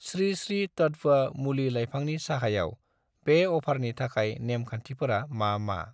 स्रि स्रि तत्व मुलि लाइफांनि साहायाव बे अफारनि थाखाय नेम खान्थिफोरा मा मा?